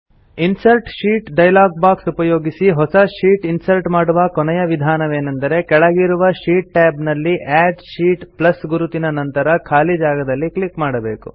insert sheet dialog box ಉಪಯೋಗಿಸಿ ಹೊಸ sheet insert ಮಾಡುವ ಕೊನೆಯ ವಿಧಾನವೇನೆಂದರೆ ಕೆಳಗಿರುವ ಶೀಟ್ ಟ್ಯಾಬ್ ನಲ್ಲಿ ಅಡ್ ಶೀಟ್ ಪ್ಲಸ್ ಗುರುತಿನ ನಂತರದ ಖಾಲಿ ಜಾಗದಲ್ಲಿ ಕ್ಲಿಕ್ ಮಾಡಬೇಕು